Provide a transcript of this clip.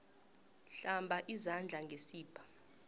hlamba izandla ngesibha